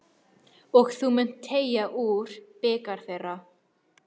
Og þú munt teyga úr bikar þeirra.